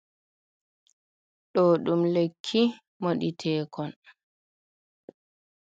Ɗo ɗum lekki moɗeteekon.